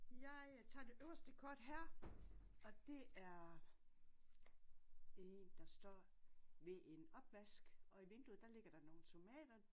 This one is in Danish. Jeg tager det øverste kort her og det er en der står ved en opvask og i vinduet der ligger der nogle tomater